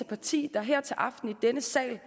parti der her til aften i denne sal